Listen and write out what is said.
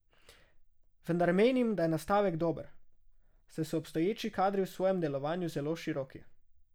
Vendar menim, da je nastavek dober, saj so obstoječi kadri v svojem delovanju zelo široki.